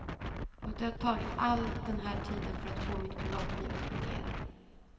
Och det har tagit all den här tiden för att få mitt privatliv att fungera.